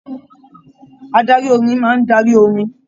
Adarí orin máa n darí orin.